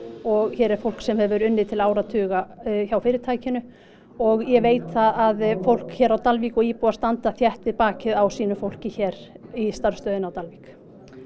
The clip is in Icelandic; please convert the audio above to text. og hér er fólk sem hefur unnið til áratuga hjá fyrirtækinu og ég veit að fólk á Dalvík og íbúar standa þétt við bakið á sínu fólki hér í starfsstöðinni á Dalvík